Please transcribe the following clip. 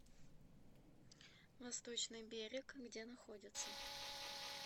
восточный берег где находится